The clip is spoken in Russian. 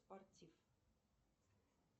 спортив